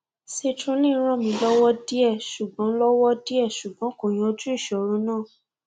citrulline ràn mí lọwọ díẹ ṣùgbọn lọwọ díẹ ṣùgbọn kò yanjú ìṣòro náà